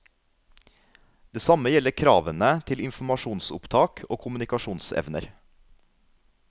Det samme gjelder kravene til informasjonsopptak og kommunikasjonsevner.